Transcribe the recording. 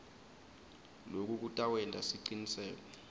loku kutawenta siciniseko